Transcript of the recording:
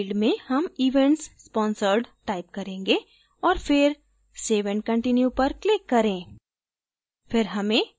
label field में हम events sponsored type करेंगे और फिर save and continue पर click करें